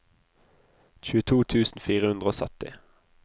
tjueto tusen fire hundre og sytti